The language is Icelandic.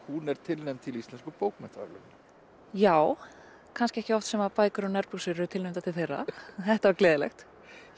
hún er tilnefnd til Íslensku bókmenntaverðlaunanna já kannski ekki oft sem bækur um nærbuxur eru tilnefndar til þeirra þetta var gleðilegt